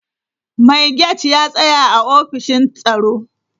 Mai gate ya tsaya a ofishin tsaro.